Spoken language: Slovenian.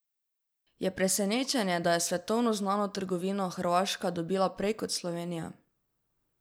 Je presenečenje, da je svetovno znano trgovino Hrvaška dobila prej kot Slovenija?